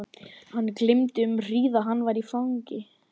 Hann gleymdi því um hríð að hann var fangi.